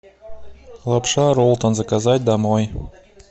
лапша ролтон заказать домой